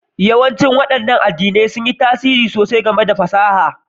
Yawancin waɗannan addinan sun yi tasiri sosai ga ci gaban fasaha